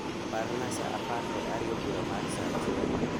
Parna saa apar kod ariyo bura mar saa achiel